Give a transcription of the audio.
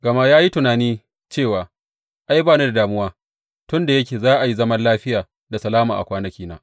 Gama ya yi tunani cewa, Ai, ba ni da damuwa, tun da yake za a yi zaman lafiya da salama a kwanakina.